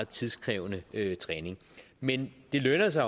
tidskrævende træning men det lønner sig